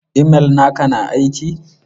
Imel naka na aiki?